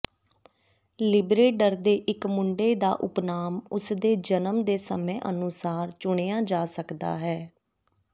ਲਿਬਰੇਡਰ ਦੇ ਇਕ ਮੁੰਡੇ ਦਾ ਉਪਨਾਮ ਉਸਦੇ ਜਨਮ ਦੇ ਸਮੇਂ ਅਨੁਸਾਰ ਚੁਣਿਆ ਜਾ ਸਕਦਾ ਹੈ